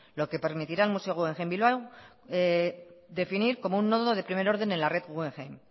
lo que permitirá al museo guggenheim bilbao definir como un nodo de primer orden en la red guggenheim